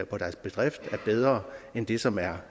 på deres bedrift er bedre end det som er